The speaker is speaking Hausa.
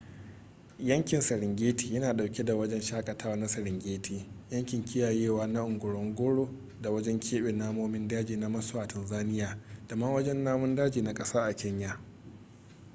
yankin serengeti yana dauke da wajen shakatawa na serengeti yankin kiyayewa na ngorongoro da wajen keɓe namomin daji na maswa a tanzania da ma wajen namun daji na kasa a kenya